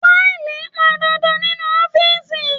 Faili pọn dandan nínú ọ́fíìsì.